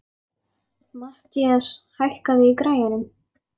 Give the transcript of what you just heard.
Mathías, hækkaðu í græjunum.